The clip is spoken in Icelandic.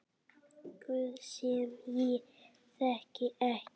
Guð sem ég þekki ekki.